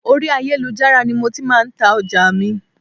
Orí ayélujára ni mo ti máa ń ta ọjà mi